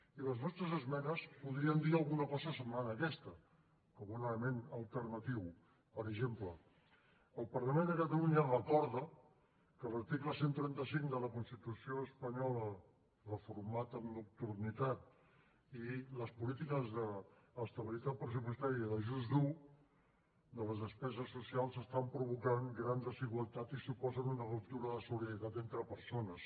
i les nostres esmenes podrien dir alguna cosa semblant a aquesta com un element alternatiu per exemple el parlament de catalunya recorda que l’article cent i trenta cinc de la constitució espanyola reformat amb nocturnitat i les polítiques d’estabilitat pressupostària d’ajust dur de les despeses socials estan provocant grans desigualtats i suposen una ruptura de la solidaritat entre persones